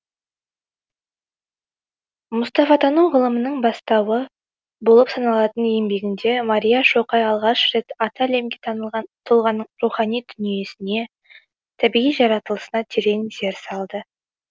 мұстафатану ғылымының бастауы болып саналатын еңбегінде мария шоқай алғаш рет аты әлемге танылған тұлғаның рухани дүниесіне табиғи жаратылысына терең зер салды